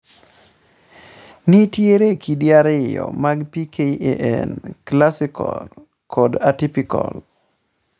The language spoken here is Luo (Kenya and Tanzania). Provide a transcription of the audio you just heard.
nitiere kidi ariyo mag PKAN, classical kod atypical.